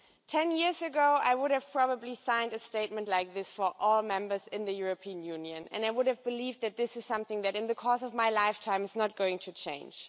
Ten years ago, I would probably have signed a statement like this for all members of the European Union and I would have believed that this is something that, in the course of my lifetime, was not going to change.